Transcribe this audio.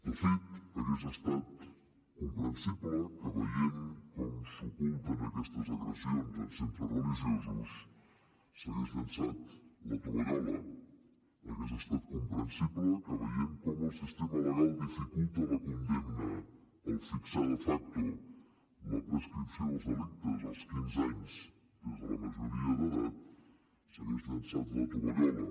de fet hagués estat comprensible que veient com s’oculten aquestes agressions en centres religiosos s’hagués llençat la tovallola hagués estat comprensible que veient com el sistema legal dificulta la condemna al fixar de facto la prescripció dels delictes als quinze anys des de la majoria d’edat s’hagués llençat la tovallola